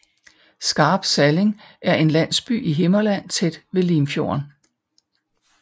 Skarp Salling er en landsby i Himmerland tæt ved Limfjorden